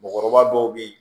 Mɔgɔkɔrɔba dɔw bɛ yen